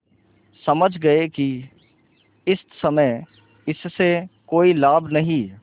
समझ गये कि इस समय इससे कोई लाभ नहीं